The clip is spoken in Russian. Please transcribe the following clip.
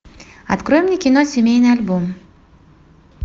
открой мне кино семейный альбом